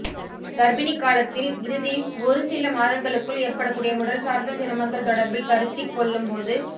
கர்பிணிக் காலத்தில் இறுதி ஒரு சில மாதங்களுக்குள் ஏற்படக்கூடிய உடல்சார்ந்த சிரமங்கள் தொடர்பில் கருத்தி கொள்ளும் போது